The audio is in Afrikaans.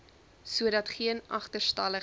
sodat geen agterstallige